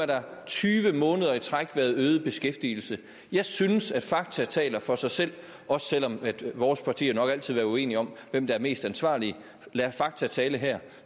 der tyve måneder i træk været øget beskæftigelse jeg synes at fakta taler for sig selv også selv om vores partier nok altid vil være uenige om hvem der er mest ansvarlig lad fakta tale her